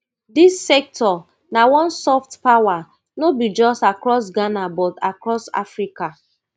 dis sector na one soft power no be just across ghana but across africa